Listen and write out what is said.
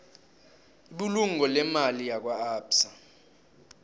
ibulungo leemali lakwaabsa